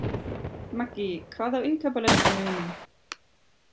Maggý, hvað er á innkaupalistanum mínum?